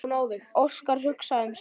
Óskar hugsaði sig um.